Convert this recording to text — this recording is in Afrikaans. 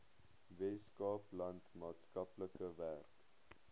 weskaapland maatskaplike werk